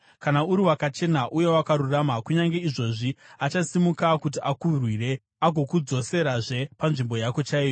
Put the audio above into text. kana uri wakachena uye wakarurama, kunyange izvozvi achasimuka kuti akurwire, agokudzoserazve panzvimbo yako chaiyo.